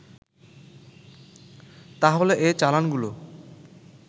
তাহলে এ চালানগুলো